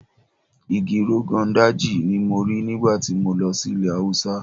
Igi Rogon Daji ni mo rí nígbà tí mo lọ sí ilẹ̀ Haúsá.